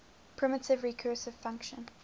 primitive recursive function